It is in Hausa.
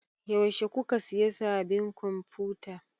Yaushe kuka siya sabin konfuta?